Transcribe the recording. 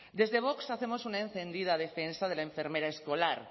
desde vox hacemos una encendida defensa de la enfermera escolar